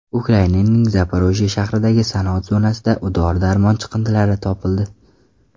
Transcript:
Ukrainaning Zaporojye shahridagi sanoat zonasida dori-darmon chiqindilari topildi.